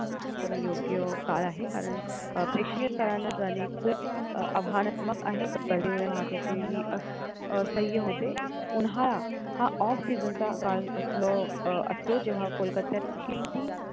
कमी योग्य काळ आहे कारण अह प्रेक्षणीय स्थळांना जाणे खूप आव्हानात्मक आहे मुले वाहतूकही असह्य होते उन्हाळा हा off season चा काळ असलं अह असतो जेव्हा कोलकात्यात किमती